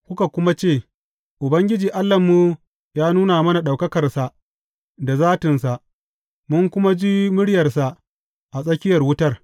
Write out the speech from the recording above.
Kuka kuma ce, Ubangiji Allahnmu ya nuna mana ɗaukakarsa da zatinsa, mun kuma ji muryarsa a tsakiyar wutar.